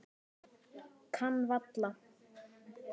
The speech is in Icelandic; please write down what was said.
Kann varla.